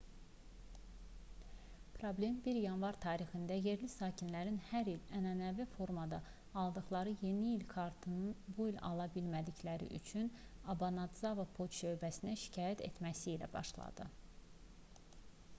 problem 1 yanvar tarixində yerli sakinlərin hər il ənənəvi formada aldıqları yeni il kartlarını bu il ala bilmədikləri üçün obanadzava poçt şöbəsinə şikayət etməsi ilə başladı